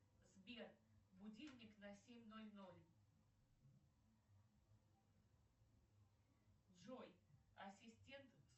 сбер будильник на семь ноль ноль джой ассистент